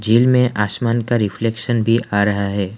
झील में आसमान का रिफ्लेक्शन भी आ रहा है।